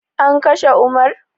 An kashe umar?